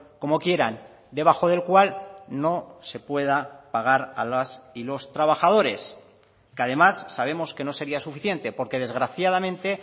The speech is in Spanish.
como quieran debajo del cual no se pueda pagar a las y los trabajadores que además sabemos que no sería suficiente porque desgraciadamente